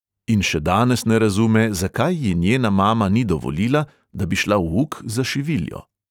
In še danes ne razume, zakaj ji njena mama ni dovolila, da bi šla v uk za šiviljo.